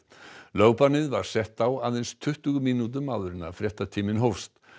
lögbannið var sett á aðeins tuttugu mínútum áður en fréttatíminn hófst